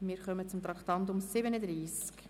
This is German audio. Wir kommen zum Traktandum 37: